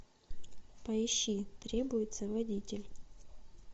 поищи требуется водитель